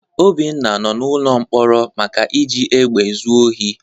Obinna nọ n'ụlọ mkpọrọ maka iji egbe zu ohi.